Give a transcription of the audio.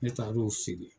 Ne taar'o sigi